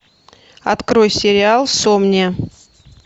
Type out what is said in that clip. открой сериал сомния